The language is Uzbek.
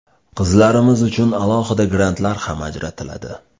Qizlarimiz uchun alohida grantlar ham ajratiladi.